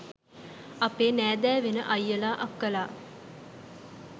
අපේ නෑදෑ වෙන අයියල අක්කලා